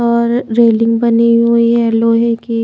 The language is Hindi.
और रेलिंग बनी हुई है लोहे की।